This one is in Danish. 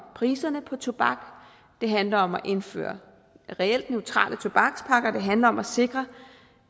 priserne på tobak det handler om at indføre reelt neutrale tobakspakker det handler om at sikre